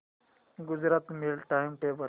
Gujarat mail time table